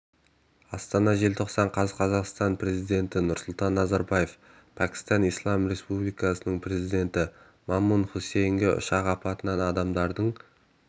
астана желтоқсан қаз қазақстан президенті нұрсұлтан назарбаев пәкістан ислам республикасының президенті мамнун хусейнге ұшақ апатынан адамдардың